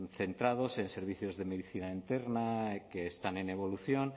centrados en servicios de medicina interna que están en evolución